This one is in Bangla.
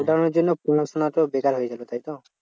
Lockdown এর জন্য পড়াশোনা তো বেকার হয়ে গেছে তাইতো?